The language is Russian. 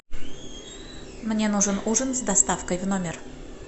мне нужен ужин с доставкой в номер